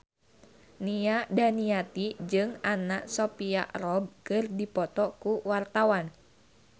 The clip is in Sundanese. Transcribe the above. Nia Daniati jeung Anna Sophia Robb keur dipoto ku wartawan